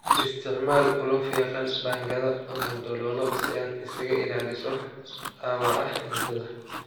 Isticmaal ulo fiiqan, baangado ama daloolo si aad isaga ilaaliso dhaawaca xididada.